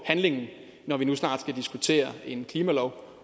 handlinger når der nu snart skal diskuteres en klimalov